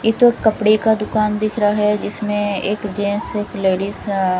ये जो कपडे का दूकान दिख है इसमें एक जेंट्स एक लेडिज अ--